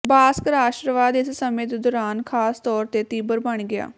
ਬਾਸਕ ਰਾਸ਼ਟਰਵਾਦ ਇਸ ਸਮੇਂ ਦੇ ਦੌਰਾਨ ਖਾਸ ਤੌਰ ਤੇ ਤੀਬਰ ਬਣ ਗਿਆ